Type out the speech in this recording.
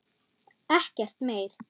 Ekkert meir.